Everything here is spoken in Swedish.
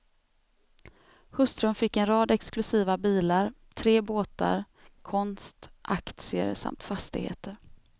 Hustrun fick en rad exklusiva bilar, tre båtar, konst, aktier samt fastigheter.